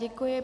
Děkuj.